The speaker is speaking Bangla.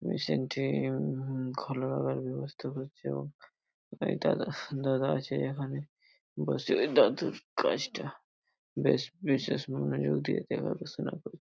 মেশিন টি হুম খোলা রাখার ব্যবস্থা করছে এবং একটা দাদা আছে এখানে বসে ওই দাদুর কাছ টা বেশ বিশেষ মনোযোগ দিয়ে দেখাশুনো করছে।